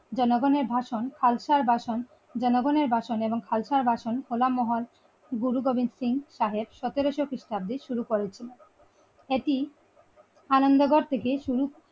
জনগণের ভাষণ খালসা ভাষণ জনগণের ভাষণ এবংখালসার ভাষণ হলামমহল গুরু গোবিন্দ সিং সাহেব সতেরো সো খ্রিস্টাব্দে শুরু করেছিলেন এটি আনন্দগড় থেকে।